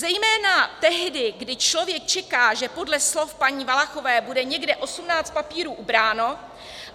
Zejména tehdy, kdy člověk čeká, že podle slov paní Valachové, bude někde 18 papírů ubráno.